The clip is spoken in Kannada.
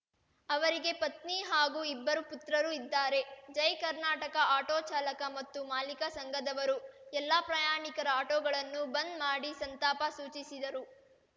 ಅವರಿಗೆ ಪತ್ನಿ ಹಾಗೂ ಇಬ್ಬರು ಪುತ್ರರು ಇದ್ದಾರೆ ಜೈ ಕರ್ನಾಟಕ ಆಟೋ ಚಾಲಕ ಮತ್ತು ಮಾಲೀಕ ಸಂಘದವರು ಎಲ್ಲ ಪ್ರಯಾಣಿಕರ ಆಟೋಗಳನ್ನು ಬಂದ್‌ ಮಾಡಿ ಸಂತಾಪ ಸೂಚಿಸಿದರು